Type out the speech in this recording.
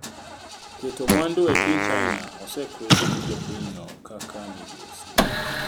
Keeto mwandu e piny China osekwedi gi jopinyno kaka migosi.